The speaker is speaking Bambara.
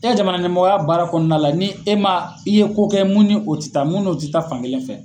E ka jamana ɲɛmɔgɔya baara kɔnɔna la ni e ma , i ye ko kɛ mun ni o ti taa mun n'o ti taa fankelen fɛ